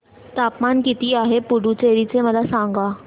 तापमान किती आहे पुडुचेरी चे मला सांगा